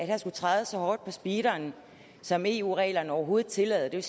her skulle trædes så hårdt på speederen som eu reglerne overhovedet tillader det